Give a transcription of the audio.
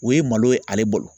O ye malo ye ale bolo.